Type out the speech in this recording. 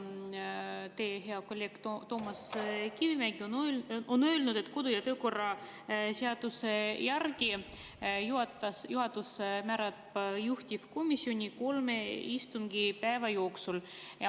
Teie hea kolleeg Toomas Kivimägi on öelnud, et kodu- ja töökorra seaduse järgi määrab juhatus juhtivkomisjoni kolme istungipäeva jooksul.